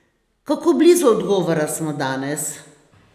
Kako blizu odgovora smo danes?